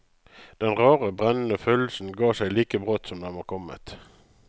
Den rare brennende følelsen ga seg like brått som den var kommet.